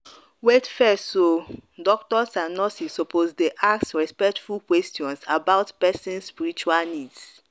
wait fess o doctors and nurses suppose dey ask respectful questions about person spiritual needs.